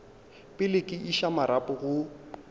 pele ke iša marapo go